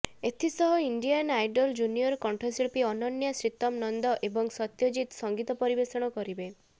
ଏଥିସହ Indian Idol junior କଣ୍ଠଶିଳ୍ପୀ ଅନନ୍ୟା ଶ୍ରୀତମ୍୍ ନନ୍ଦ ଏବଂ ସତ୍ୟଜିତ୍ ସଙ୍ଗୀତ ପରିବେଷଣ କରିବେ